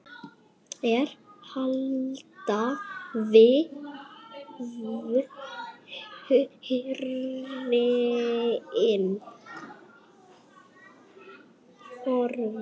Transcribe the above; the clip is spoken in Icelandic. Er alltaf hrein.